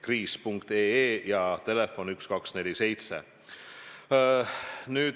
Kriis.ee ja 1247.